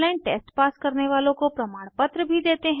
online test pass करने वालों को प्रमाणपत्र भी देते हैं